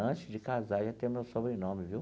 Antes de casar, já tem meu sobrenome, viu?